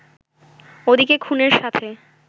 ওদিকে খুনের সাথে